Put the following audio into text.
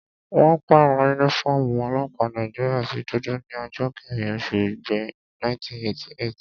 Wọ́n pàrọ̀ yúnífọ́ọ̀mù ọlọ́pàá Nàìjíríyà sí dúdú ní ọjọ́ kẹ́rin oṣù igbe, 1988